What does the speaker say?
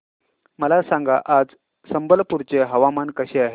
मला सांगा आज संबलपुर चे हवामान कसे आहे